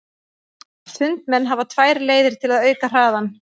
Sundmenn hafa tvær leiðir til að auka hraðann.